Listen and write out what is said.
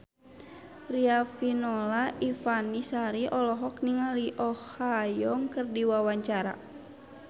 Riafinola Ifani Sari olohok ningali Oh Ha Young keur diwawancara